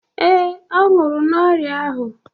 Yes, he died of that sickness.